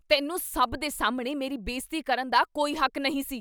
ਤੈਨੂੰ ਸਭ ਦੇ ਸਾਹਮਣੇ ਮੇਰੀ ਬੇਇੱਜ਼ਤੀ ਕਰਨ ਦਾ ਕੋਈ ਹੱਕ ਨਹੀਂ ਸੀ।